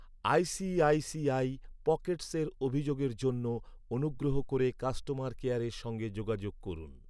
ICICI পকেটসের অভিযোগের জন্য অনুগ্রহ করে কাস্টমার কেয়ারের সঙ্গে যোগাযোগ করুন।